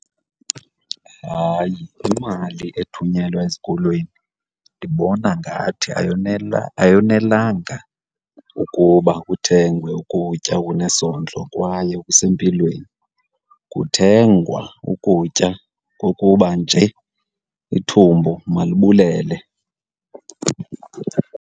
Hayi, imali ethunyelwa ezikolweni ndibona ngathi ayonelanga ukuba kuthengwe ukutya okunesondlo kwaye okusempilweni. Kuthengwa ukutya kokuba nje ithumbu malibulele.